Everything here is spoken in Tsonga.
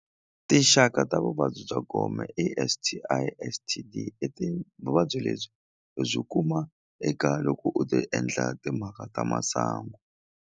Tinxaka ta vuvabyi bya gome i S_T_I, S_T_D i vuvabyi lebyi u byi kuma eka loko u ti endla timhaka ta masangu.